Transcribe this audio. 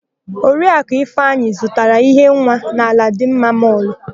Oriakụ Ifeanyị zụtara íhé nwa na Aladịmma mọlụ.